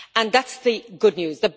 That's the good news.